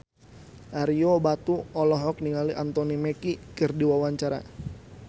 Ario Batu olohok ningali Anthony Mackie keur diwawancara